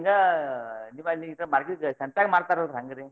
ಹಿಂಗ market ಸಂತ್ಯಾಗ ಮಾರ್ತಾರಲ್ರಿ ಹಂಗ್ರಿ.